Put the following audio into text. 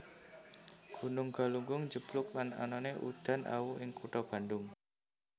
Gunung Galunggung njeblug lan anané udan awu ing kutha Bandung